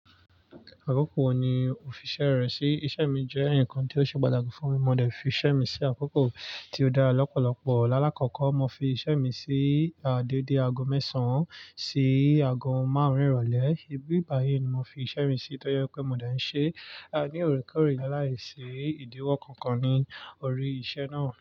Àkókò wo ni ò fi iṣẹ́ rẹ sí? Iṣẹ́ mi jẹ́ nǹkan tí o ṣe pàtàkì fún mi, mo dẹ̀ fi iṣẹ́ mi sí àkókò tí ó dára lọ́pọ̀lọpọ̀. Láàkọ́kọ́, mo fi iṣẹ́ mi sí déédéé aago mẹ́sàn-án sí aago márùn-ún ìrọ̀lẹ́. Ibi bayìi ni mo fi iṣẹ́ mi sí, tó jé pé mo dé ń ṣe ní òrékoré láìsí ìdíwọ́ kankan ní orí iṣẹ́ náà.